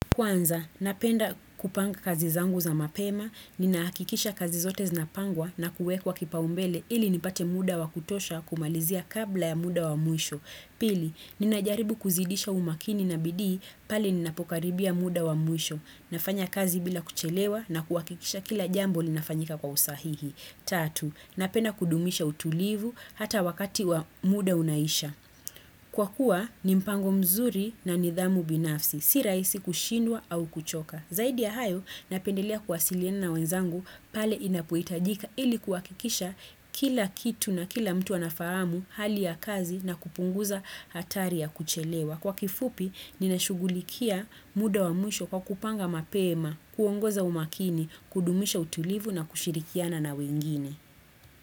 Kwanza, napenda kupanga kazi zangu za mapema, nina hakikisha kazi zote zinapangwa na kuwekwa kipaumbele ili nipate muda wa kutosha kumalizia kabla ya muda wa mwisho. Pili, ninajaribu kuzidisha umaakini na bidii pale ninapokaribia muda wa muisho. Nafanya kazi bila kuchelewa na kuhakikisha kila jambo linafanyika kwa usahihi. Tatu, napenda kudumisha utulivu hata wakati wa muda unaisha. Kwa kuwa ni mpango mzuri na nidhamu binafsi, si rahisi kushindwa au kuchoka. Zaidi ya hayo, napendelea kuwasiliana na wenzangu pale inapohitajika ili kuhakikisha kila kitu na kila mtu anafahamu hali ya kazi na kupunguza hatari ya kuchelewa. Kwa kifupi, ninashugulikia muda wa mwisho kwa kupanga mapema, kuongoza umaakini, kudumisha utulivu na kushirikiana na wengine.